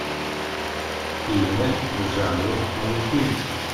фильмы в жанре мультфильм